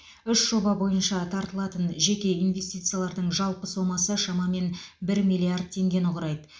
үш жоба бойынша тартылатын жеке инвестициялардың жалпы сомасы шамамен бір миллиард теңгені құрайды